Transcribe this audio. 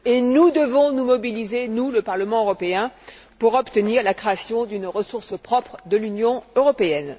Nous devons nous mobiliser, nous, le Parlement européen, pour obtenir la création d'une ressource propre de l'Union européenne.